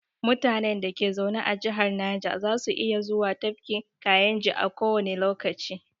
Mutanen da ke zaune a jihar naja za su iya zuwa tafkin kayinji a kowane lokaci